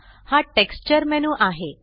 हा texture menu आहे